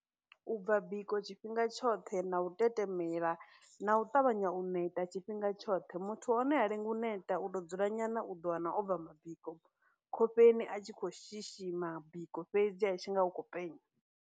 U bva biko tshifhinga tshoṱhe, na u tetemela, na u ṱavhanya u neta tshifhinga tshoṱhe, muthu wa hone ha lengi u neta, u tou dzula nyana u ḓo wana o bva mabiko khofheni a tshi khou shishima biko fhedzi a tshi nga u khou penya.